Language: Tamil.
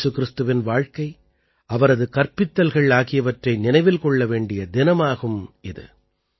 ஏசு கிறிஸ்துவின் வாழ்க்கை அவரது கற்பித்தல்கள் ஆகியவற்றை நினைவில் கொள்ள வேண்டிய தினமாகும் இது